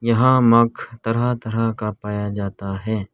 यहां मग तरह तरह का पाया जाता है।